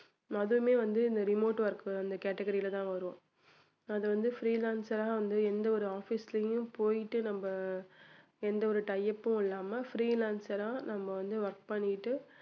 அதுவுமே வந்து இந்த remote work அந்த category ல தான் வரும் அது வந்து freelancer ரா வந்து எந்த ஒரு office லயும் போயிட்டு நம்ம எந்த ஒரு tie up உம் இல்லாம freelancer ஆ நம்ம வந்து work பண்ணிட்டு